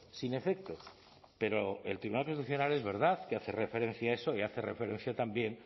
sin efecto pero el tribunal constitucional es verdad que hace referencia a eso y hace referencia también